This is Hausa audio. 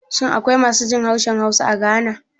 Shin akwai masu jin harshen Hausa a Ghana?